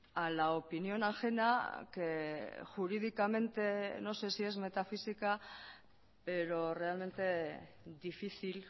a la opinión ajena que jurídicamente no sé si es metafísica pero realmente difícil